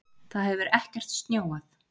Það hefur ekkert snjóað